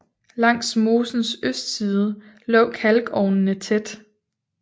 Langs mosens østside lå kalkovnene tæt